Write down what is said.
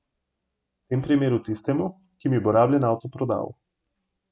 V tem primeru tistemu, ki mi bo rabljen avto prodal.